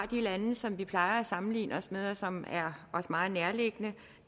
af de lande som vi plejer at sammenligne os med og som er os meget nærliggende